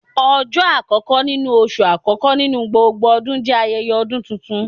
Ọjọ akọkọ nínú oṣú akọkọ nínú gbógbó ọdún jẹ ayẹyẹ ọdún túntún